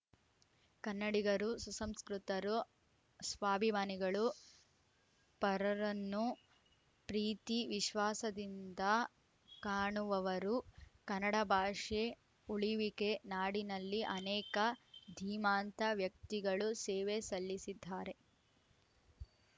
ಕನ್ನಡಿಗರು ಸುಸಂಸ್ಕೃತರು ಸ್ವಾಭಿಮಾನಿಗಳು ಪರರನ್ನು ಪ್ರೀತಿ ವಿಶ್ವಾಸದಿಂದ ಕಾಣುವವರು ಕನ್ನಡ ಭಾಷೆ ಉಳಿವಿಗೆ ನಾಡಿನಲ್ಲಿ ಅನೇಕ ಧೀಮಾಂತ ವ್ಯಕ್ತಿಗಳು ಸೇವೆ ಸಲ್ಲಿಸಿದ್ದಾರೆ